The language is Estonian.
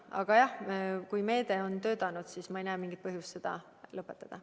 Aga jah, kui meede on töötanud, siis ma ei näe mingit põhjust seda lõpetada.